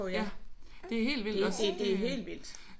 Ja det er helt vildt at se